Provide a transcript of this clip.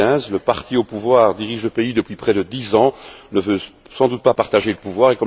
2015. Le parti au pouvoir dirige le pays depuis près de 10 ans et ne veut sans doute pas partager le pouvoir.